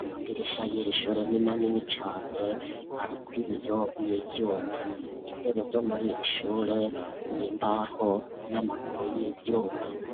amadirisha y'irishure n'imanini cane arikwibiyo n'ivyuma intebe zo muri rishure nimbaho n'amakuru y'ivyuma.